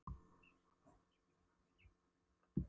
Já, svo sannarlega, svaraði forstöðumaðurinn og hló við.